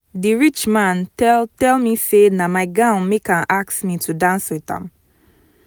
the rich man tell tell me say na my gown make am ask me to dance with am